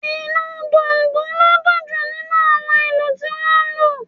Ìlù Dùndu ló dún jù nínú àwọn ìlù tí wọ́n lù